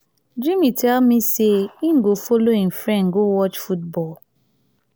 jimmy tell me say he go follow him friend go watch football